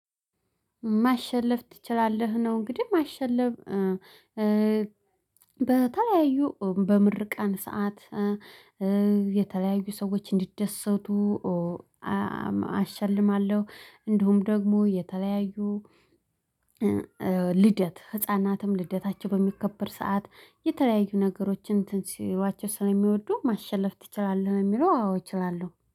ማሸለፍ ትችላለህ ነው። እንግዲህ ማሸለፍ በተለያዩ በምርቃን ሰዓት የተለያዩ ሰዎች እንዲደሰቱ አሸልማለሁ። እንዲሁም ደግሞ የተለያዩ ልደት ህፃናትም ልደታቸው በሚከበር ሰዓት የተለያዩ ነገሮችን ትንሲሏቸው ስለሚወዱ ማሸለፍ ትችላለህ የሚለው አዎ እችላለሁ